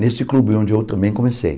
nesse clube onde eu também comecei.